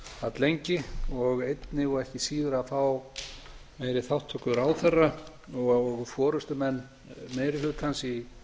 alllengi og einnig og ekki síður að fá meiri þátttöku ráðherra og forustumenn meiri hlutans í